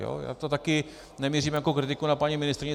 Já to také nemířím jako kritiku na paní ministryni.